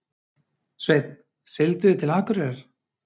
Sveinn: Siglduð þið til Akureyrar?